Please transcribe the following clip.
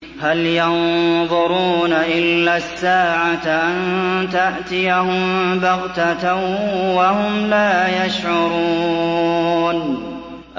هَلْ يَنظُرُونَ إِلَّا السَّاعَةَ أَن تَأْتِيَهُم بَغْتَةً وَهُمْ لَا يَشْعُرُونَ